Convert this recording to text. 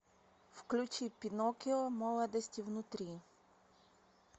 включи пиноккио молодости внутри